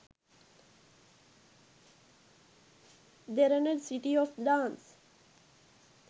derana city of dance